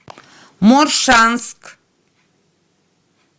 моршанск